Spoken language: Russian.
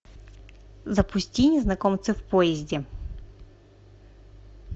запусти незнакомцы в поезде